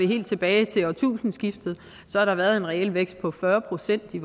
helt tilbage til årtusindskiftet har der været en reel vækst på fyrre procent i